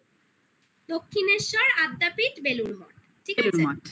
দক্ষিনেশ্বর আদ্যাপীঠ বেলুড়মঠ বেলুড়মঠ ঠিক আছে